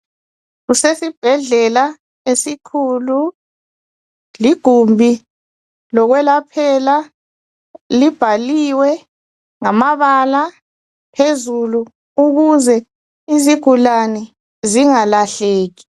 Kusesibhedlela esikhulu. Ligumbi lokwelaphela. Libhaliwe ngamabala phezulu ukuze izigulani zingalahleki.